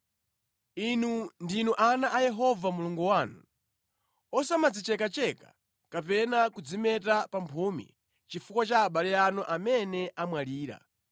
Inu ndinu ana a Yehova Mulungu wanu. Osamadzichekacheka kapena kudzimeta pamphumi chifukwa cha abale anu amene amwalira,